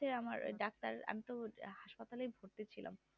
হচ্ছে আমার doctor আমি তো hospital ভরতি ছিলাম